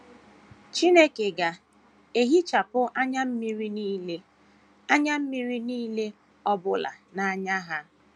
‘ Chineke ga - ehichapụ anya mmiri nile anya mmiri nile ọ bụla n’anya ha. ’